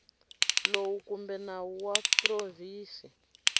lowu kumbe nawu wa provinsi